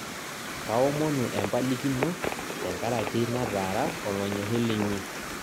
kaomonu empalikino tenkaraki nataara olonyori linyi